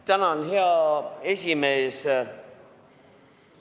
Tänan, hea esimees!